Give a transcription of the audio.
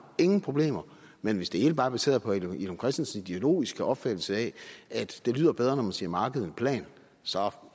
ingen problemer men hvis det hele bare er baseret på herre villum christensens ideologiske opfattelse af at det lyder bedre når man siger marked end plan så